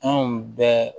Anw bɛ